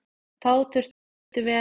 Þá þurftum við að rýma.